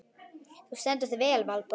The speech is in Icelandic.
Þú stendur þig vel, Valborg!